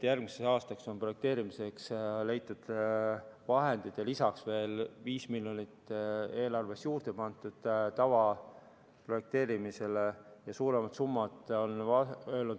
Järgmiseks aastaks on projekteerimiseks leitud vahendeid ja lisaks veel 5 miljonit on eelarves juurde pandud tavaprojekteerimisele, on suuremad summad.